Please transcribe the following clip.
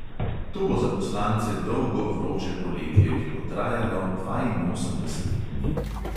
To bo za poslance dolgo vroče poletje, ki bo trajalo dvainosemdeset dni.